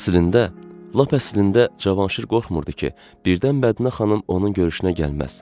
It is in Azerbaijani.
Əslində, lap əslində Cavanşir qorxmurdu ki, birdən Bədinə xanım onun görüşünə gəlməz.